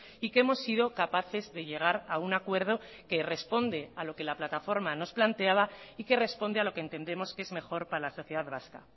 y que hemos sido capaces de llegar a un acuerdo que responde a lo que la plataforma nos planteaba y que responde a lo que entendemos que es mejor para la sociedad vasca